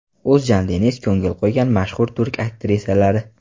O‘zjan Deniz ko‘ngil qo‘ygan mashhur turk aktrisalari .